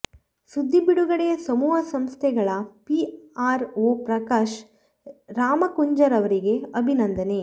ಸುದ್ದಿ ಬಿಡುಗಡೆಯ ಸಮೂಹ ಸಂಸ್ಥೆಗಳ ಪಿ ಆರ್ ಒ ಪ್ರಕಾಶ್ ರಾಮಕುಂಜರವರಿಗೆ ಅಭಿನಂದನೆ